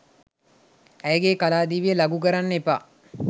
ඇයගේ කලා දිවිය ලඝු කරන්න එපා.